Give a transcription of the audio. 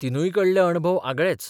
तिनूय कडले अणभव आगळेच.